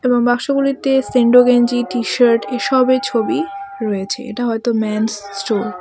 বাক্সগুলিতে sando গেঞ্জি T shirt এইসবের ছবি রয়েছে এটা হয়তো ম্যান'স স্টোর ।